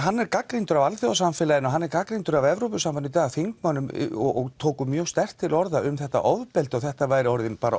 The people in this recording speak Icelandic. hann er gagnrýndur af alþjóðasamfélaginu og hann er gagnrýndur af Evrópusambandinu í dag og þingmenn tóku mjög sterkt til orða um þetta ofbeldi og þetta væri orðin bara